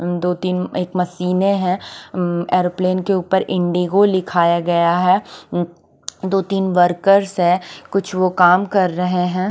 दो तीन एक मशीने है ऐरोप्लेन के ऊपर इण्डोगो लिखाया गया है दो तीन वर्कर्स है कुछ वो काम कर रहे है।